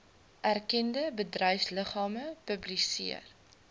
erkende bedryfsliggame publiseer